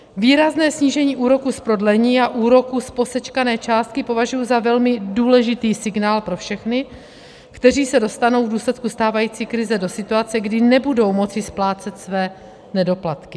Výrazné snížení úroku z prodlení a úroku z posečkané částky považuji za velmi důležitý signál pro všechny, kteří se dostanou v důsledku stávající krize do situace, kdy nebudou moci splácet své nedoplatky.